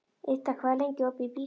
Idda, hvað er lengi opið í Byko?